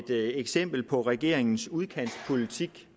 et eksempel på regeringens udkantspolitik